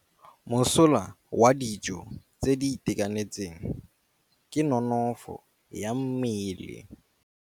Mosola wa dijô tse di itekanetseng ke nonôfô ya mmele.